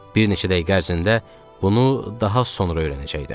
Bir neçə dəqiqə ərzində bunu daha sonra öyrənəcəkdim.